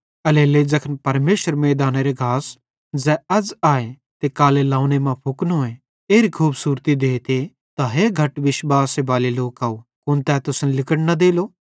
एल्हेरेलेइ ज़ैखन परमेशर मैइदानेरो घास ज़ै अज़ आए ते कालां लौवंने मां फुकनोए एरी खूबसूरती देते त हे घट विश्वासे बाले लोकव कुन तै तुसन लिगड़ न देलो